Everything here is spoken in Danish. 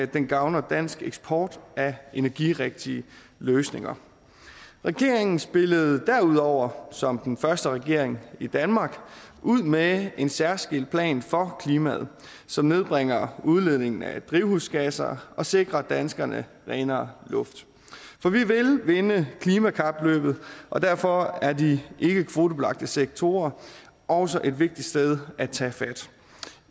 den gavner dansk eksport af energirigtige løsninger regeringen spillede derudover som den første regering i danmark ud med en særskilt plan for klimaet som nedbringer udledningen af drivhusgasser og sikrer danskerne renere luft for vi vil vinde klimakapløbet og derfor er de ikkekvotebelagte sektorer også et vigtigt sted at tage fat